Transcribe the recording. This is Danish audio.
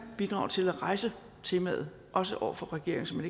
bidrage til at rejse temaet også over for regeringen som